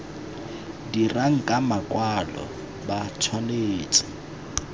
dirang ka makwalo ba tshwanetse